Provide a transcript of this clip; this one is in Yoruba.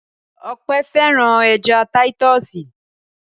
Ọpẹ́ fẹ́ràn ẹja títọ́sì.